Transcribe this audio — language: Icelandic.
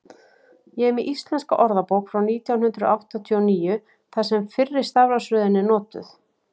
ég er með íslenska orðabók frá nítján hundrað áttatíu og níu þar sem fyrri stafrófsröðin er notuð